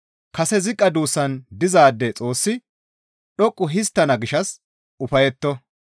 Kase ziqqa duussan dizaade Xoossi dhoqqu histtana gishshas ufayetto.